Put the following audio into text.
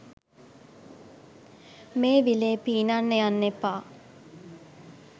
මේ විලේ පීනන්න යන්න එපා.